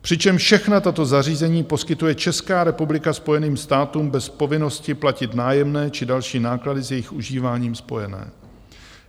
Přičemž všechna tato zařízení poskytuje Česká republika Spojeným státům bez povinnosti platit nájemné či další náklady s jejich užíváním spojené.